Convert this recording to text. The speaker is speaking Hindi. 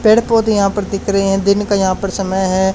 पेड़ पौधे यहां पर दिख रहे हैं दिन का यहां पर समय है।